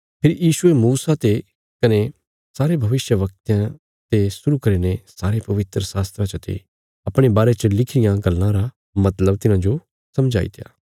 फेरी यीशुये मूसा ते कने सारे भविष्यवक्तयां ते शुरु करीने सारे पवित्रशास्त्रा चते अपणे बारे च लिखी रियां गल्लां रा मतलब तिन्हांजो समझाईत्या